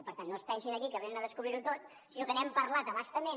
per tant no es pensin aquí que venen a descobrir ho tot sinó que n’hem parlat a bastament